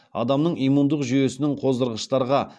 адамның иммундық жүйесінің қоздырғыштарға